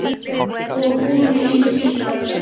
Og hún ein síðar.